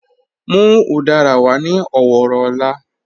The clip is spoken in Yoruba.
Mú udara wà ní ọ̀wọ̀rọ̀ ọ̀lá.